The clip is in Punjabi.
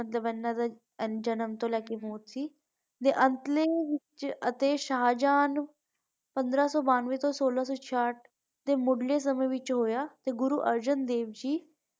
ਮਤਲਬ ਇਨ੍ਹਾਂ ਦਾ ਜਨਮ ਤੋਂ ਲੈਕੇ ਮੌਤ ਸੀ ਤੇ ਅੰਤਲੇ ਵਿਚ ਅਤੇ ਸ਼ਾਹਜਹਾਨ ਪੰਦਰਾਂ ਸੋ ਬਾਨਵੇਂ ਤੋਂ ਸੋਲਾਂ ਸੋ ਸ਼ਿਆਠ ਦੇ ਸਮੇਂ ਦੇ ਵਿਚ ਹੋਇਆ ਤੇ ਗੁਰੂ ਅਰਜੁਨ ਦੇਵ ਜੀ।